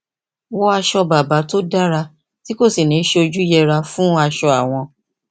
wọ aṣọ bàbà tó dára tí kò sì ní í sojú yẹra fún aṣọ àwọn